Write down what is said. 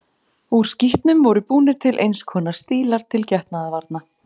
Úr skítnum voru búnir til eins konar stílar til getnaðarvarna.